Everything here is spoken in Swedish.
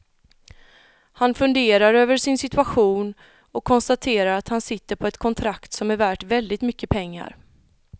Han funderar över sin situation och konstaterar att han sitter på ett kontrakt som är värt väldigt mycket pengar.